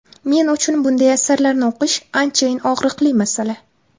Men uchun bunday asarlarni o‘qish anchayin og‘riqli masala.